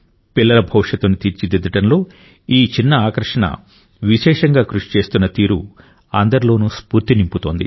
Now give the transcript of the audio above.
పిల్లల భవిష్యత్తును తీర్చిదిద్దడంలో ఈ చిన్న ఆకర్షణ విశేషంగా కృషి చేస్తున్న తీరు అందరిలోనూ స్ఫూర్తి నింపుతోంది